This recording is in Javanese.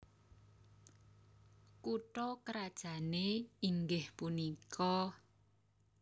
Kutha krajané inggih punika